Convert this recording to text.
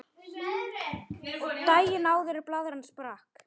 Daginn áður en blaðran sprakk.